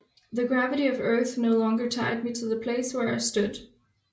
The gravity of earth no longer tied me to the place where I stood